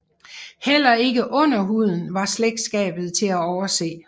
Heller ikke under huden var slægtskabet til at overse